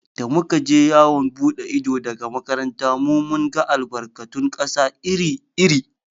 Da muka je yawon buɗe ido daga makarantar mu, mun ga albarkatun ƙasa iri iri.